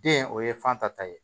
Den o ye fan ta ye